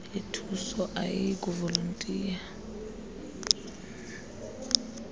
ithuso ayiyiy kuvolontiya